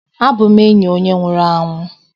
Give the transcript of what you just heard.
abum enyi onye nwuru anwu